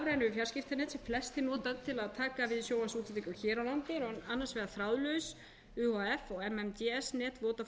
fjarskiptanet sem flestir nota til að taka við sjónvarpsútsendingum hér á landi eru annars vegar þráðlaus uhf og mmds net vodafone og hins vegar adsl net